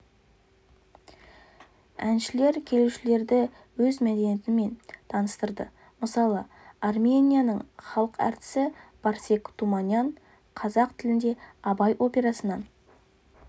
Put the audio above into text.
әншілер келушілерді өз мәдениетімен таныстырды мысалы арменияның халық әртісі барсег туманян қазақ тілінде абай операсынан